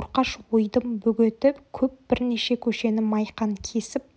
орқаш-ойдым бөгеті көп бірнеше көшені майқан кесіп